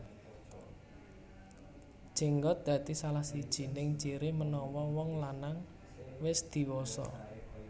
Jenggot dadi salah sijining ciri menawa wong lanang wis diwasa